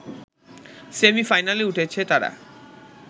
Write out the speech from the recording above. সেমি-ফাইনালে উঠেছে তারা